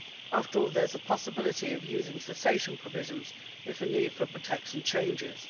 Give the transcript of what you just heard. After all, there is a possibility of using cessation provisions if a need for protection changes.